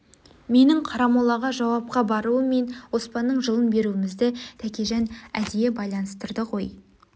менің қарамолаға жауапқа баруым мен оспанның жылын беруімізді тәкежан әдейі байланыстырды ғой